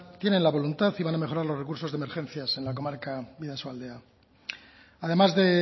tiene la voluntad y van a mejorar los recursos de emergencias en la comarca bidasoaldea además de